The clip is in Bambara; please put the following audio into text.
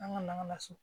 An ka laso